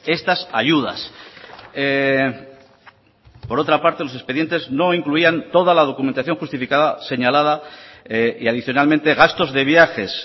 estas ayudas por otra parte los expedientes no incluían toda la documentación justificada señalada y adicionalmente gastos de viajes